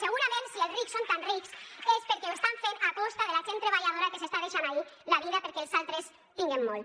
segurament si els rics són tan rics és perquè ho estan fent a costa de la gent treballadora que s’està deixant allí la vida perquè els altres tinguen molt